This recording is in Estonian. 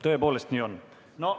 Tõepoolest nii on.